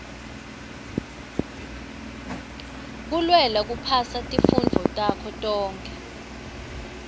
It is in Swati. kulwela kuphasa tifundvo takho tonkhe